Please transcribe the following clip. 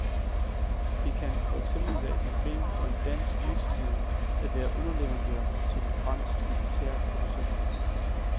Det kan for eksempel være et problem for en dansk virksomhed at være underleverandør til en fransk militærproducent.